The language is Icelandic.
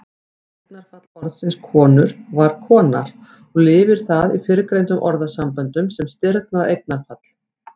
Eignarfall orðsins konur var konar og lifir það í fyrrgreindum orðasamböndum sem stirðnað eignarfall.